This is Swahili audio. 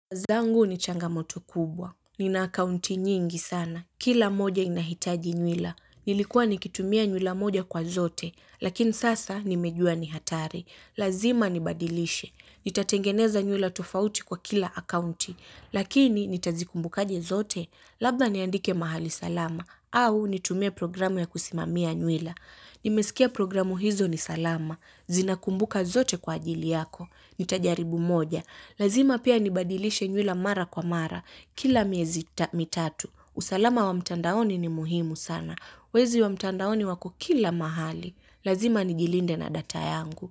Yangu ni changamoto kubwa. Nina akaunti nyingi sana. Kila moja inahitaji nywila. Nilikuwa nikitumia nywila moja kwa zote. Lakini sasa nimejua ni hatari. Lazima nibadilishe. Nitatengeneza nywila tofauti kwa kila akaunti. Lakini nitazikumbukaje zote. Labda niandike mahali salama. Au nitumie programu ya kusimamia nywila. Nimesikia programu hizo ni salama. Zinakumbuka zote kwa ajili yako. Nitajaribu moja. Lazima pia nibadilishe nywila mara kwa mara. Kila miezi mitatu. Usalama wa mtandaoni ni muhimu sana. Wezi wa mtandaoni wako kila mahali. Lazima nijilinde na data yangu.